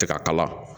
Tɛ ka kala